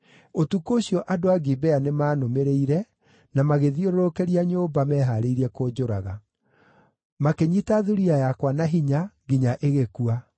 Ũtukũ ũcio andũ a Gibea nĩmaanũmĩrĩire, na magĩthiũrũrũkĩria nyũmba, mehaarĩirie kũnjũraga. Makĩnyiita thuriya yakwa na hinya, nginya ĩgĩkua.